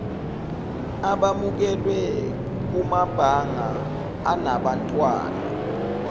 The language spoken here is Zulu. abamukelwe kumabanga anabantwana